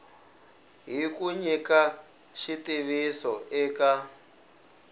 hi ku nyika xitiviso eka